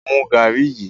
Mú garri yí!